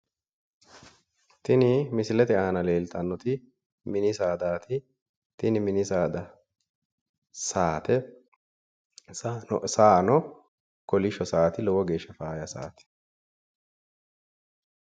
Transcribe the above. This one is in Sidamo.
Tini misilete aana leeltannoti mini saadaati tini mini saada saate. Saano kolisho saati lowo geeshsha faayya saati.